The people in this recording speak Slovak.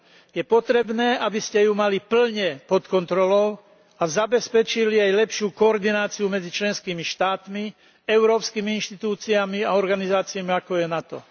Je potrebné, aby ste ju mali plne pod kontrolou a zabezpečili jej lepšiu koordináciu medzi členskými štátmi, európskymi inštitúciami a organizáciami, ako je NATO.